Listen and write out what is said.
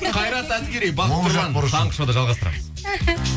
қайрат әділгерей таңғы шоуда жалғастырамыз